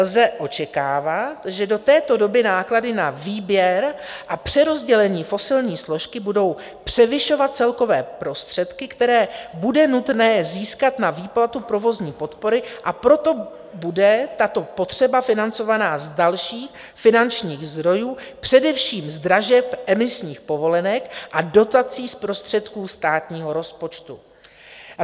Lze očekávat, že do této doby náklady na výběr a přerozdělení fosilní složky budou převyšovat celkové prostředky, které bude nutné získat na výplatu provozní podpory, a proto bude tato potřeba financována z dalších finančních zdrojů, především z dražeb emisních povolenek a dotací z prostředků státního rozpočtu.